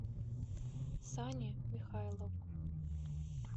сане михайлову